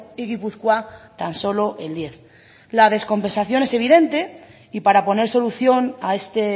y gipuzkoa tan solo el diez la descompensación es evidente y para poner solución a este